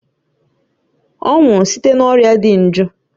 Ọ nwụrụ site n'orịa dị iju.